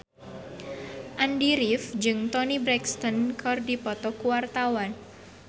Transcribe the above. Andy rif jeung Toni Brexton keur dipoto ku wartawan